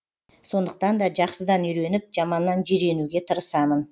сондықтан да жақсыдан үйреніп жаманнан жиренуге тырысамын